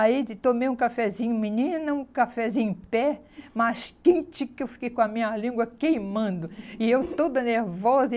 Aí, tomei um cafezinho menino, um cafezinho em pé, mas quente que eu fiquei com a minha língua queimando, e eu toda nervosa.